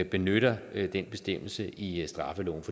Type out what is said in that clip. benytter den bestemmelse i straffeloven